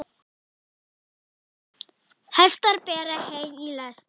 Hestar bera hey í lest.